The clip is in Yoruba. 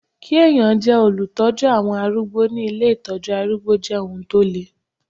Kí ẹ̀yàn jẹ́ olùtọ́jú àwọn arúgbó ní ilé Ìtọ́jú arúgbó jẹ́ ohun tó le.